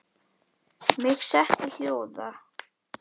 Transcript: Mig setti hljóða.